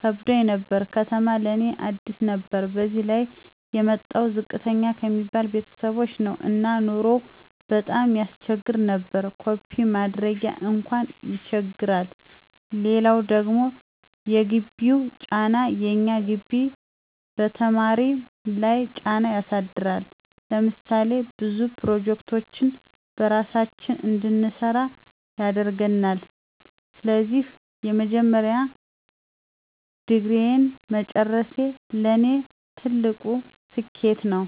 ከብዶኝ ነበር፤ ከተማ ለእኔ አዲስ ነበር በዚያ ላይ እኔ የመጣሁት ዝቅተኛ ከሚባሉ ቤተሰቦች ነው እና ኑሮው ቀጣም ያሰቸግር ነበር። ኮፒ ማድረጊያ አንኳን ይቸግራል! ሌላው ደግሞ የግቢው ጫና፦ የእኛ ግቢ በተማሪ ለይ ጫና ያሳድራል። ለምሳሌ ብዙ ፕሮጀክቶችን በራሳችን እንድንሰራ ያደርገናል። ስለዚህ የመጀመሪያ ዲግሪየን መጨረሴ ለኔ ትልቅ ስኬት ነው።